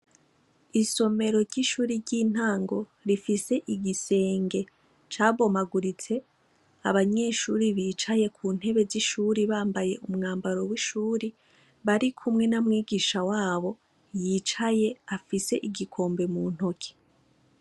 Isomero ry'ishure ry'intango rifise igisenge cabomaguritse, abanyeshure bicaye ku ntebe z'ishure bambaye umwambaro w'ishuure barikumwe na mwigisha wabo yicaye afise igikombe mu ntoke.